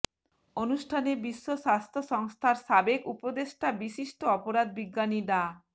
অনুষ্ঠানে বিশ্ব স্বাস্থ্যসংস্থার সাবেক উপদেষ্টা বিশিষ্ট অপরাধ বিজ্ঞানী ডা